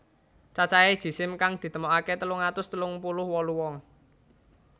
Cacahé jisim kang ditemokaké telung atus telung puluh wolu wong